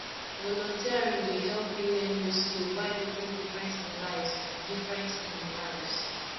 volunteering dey help me learn new skills while making difference in lives difference in lives